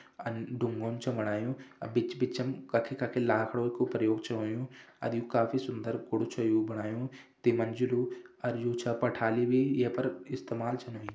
अन डुंगो छु बणायु अ बिच बिचम कखि कखि लाखड़ो कु प्रयोग छ होयुं अर यू काफी सुंदर कुड़ु छु यू बणायु ती मंजिलू अर यू छा पठाली भी ये पर इस्तेमाल छन होईं।